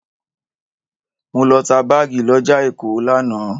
Mo lọ ta báàgì lọ́jà Èkó lánàá.